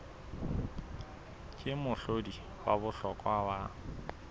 ke mohlodi wa bohlokwa wa